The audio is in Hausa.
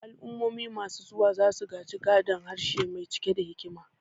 Al'ummomi masu zuwa za su gaji gadon harshe mai cike da hikima.